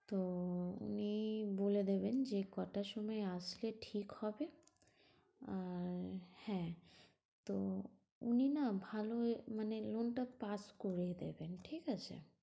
তো উনি বলে দেবেন যে ক'টার সময় আসলে ঠিক হবে। আর হ্যাঁ, তো উনি না ভালোই মানে loan টার কাজ করে দেবেন, ঠিক আছে?